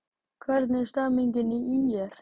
Hvernig er stemningin hjá ÍR?